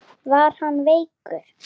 Var hann veikur?